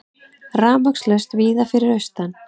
Rafmagnslaust víða fyrir austan